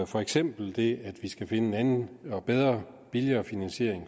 for eksempel det at vi skal finde en anden og bedre og billigere finansiering